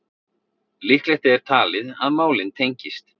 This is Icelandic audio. Líklegt er talið að málin tengist